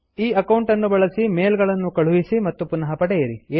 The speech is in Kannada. ಈ ಅಕೌಂಟ್ ಅನ್ನು ಬಳಸಿ ಮೇಲ್ ಗಳನ್ನು ಕಳುಹಿಸಿ ಮತ್ತು ಪುನಃ ಪಡೆಯಿರಿ